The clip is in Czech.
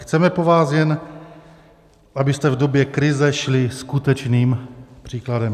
Chceme po vás, jen abyste v době krize šli skutečným příkladem.